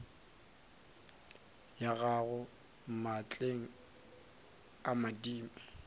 ya gago maatleng a madimo